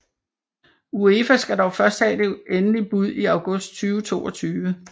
UEFA skal dog først have det endelige bud i august 2022